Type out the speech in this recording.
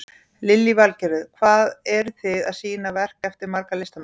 Lillý Valgerður: Hvað eru þið að sýna verk eftir marga listamenn?